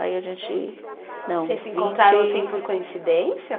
Aí a gente, não. Vocês se encontraram assim por coincidência?